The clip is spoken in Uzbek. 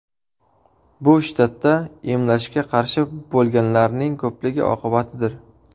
Bu shtatda emlashga qarshi bo‘lganlarning ko‘pligi oqibatidir.